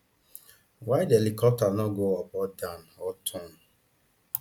why di helicopter no go up or down or turn